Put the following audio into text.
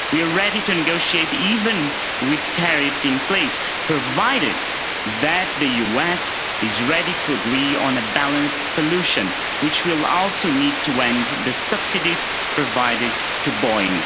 We are ready to negotiate even with tariffs in place, provided that the US is ready to agree on a balanced solution, which will also need to end the subsidies provided to Boeing.